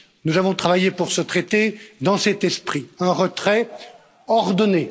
Nous avons travaillé pour ce traité dans cet esprit un retrait ordonné.